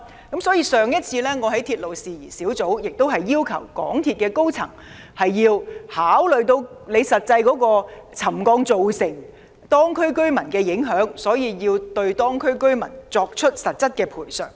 因此，我早前在鐵路事宜小組委員會會議席上，要求港鐵公司的高層考慮沉降對當區居民造成的實際影響，並作出實質的賠償。